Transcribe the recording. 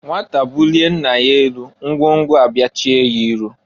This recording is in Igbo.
Nwata bulie nna ya elu, ngwo ngwo abịachie ya iru.